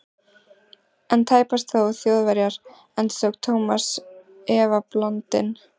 En tæpast þó Þjóðverjar? endurtók Thomas efablandinn.